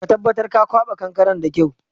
Ka tabatar ka kwaɓa kankaren da kyau!